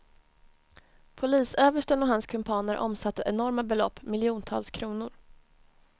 Polisöversten och hans kumpaner omsatte enorma belopp, miljontals kronor.